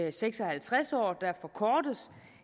og seks og halvtreds år forkortes